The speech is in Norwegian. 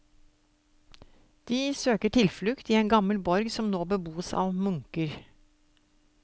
De søker tilflukt i en gammel borg som nå beboes av munker.